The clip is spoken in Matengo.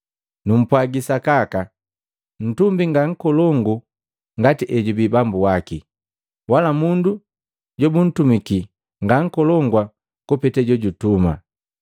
Numpwagi sakaka, ntumi nga nkolongu ngati ejubii bambu wake, wala mundu jobuntumiki ngankolongu kupete jojutuma.